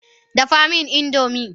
Dafa min indomie!